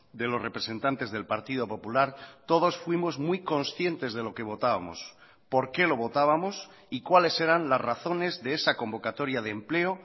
de los representantes del partido popular todos fuimos muy conscientes de lo que votábamos por qué lo votábamos y cuáles eran las razones de esa convocatoria de empleo